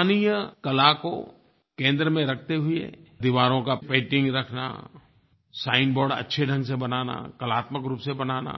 स्थानीय कला को केंद्र में रखते हुए दीवारों का पेंटिंग रखना साइनबोर्ड अच्छे ढंग से बनाना कलात्मक रूप से बनाना